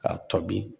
K'a to bi